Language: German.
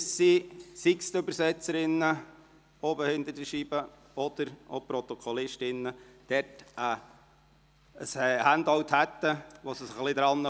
Dies, damit sowohl die Übersetzerinnen als auch die Protokollführerinnen über ein Handout verfügen, auf das sie sich stützen können.